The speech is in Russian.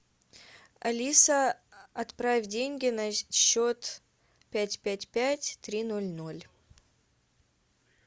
алиса отправь деньги на счет пять пять пять три ноль ноль